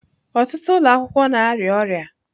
Ọtụtụ ụlọ akwụkwọ na-arịa ọrịa.